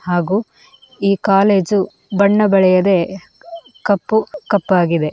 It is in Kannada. ಹಾಗೂ ಈ ಕಾಲೇಜು ಬಣ್ಣ ಬಳಿಯದೆ ಕಪ್ಪು ಕಪ್ಪಾಗಿದೆ.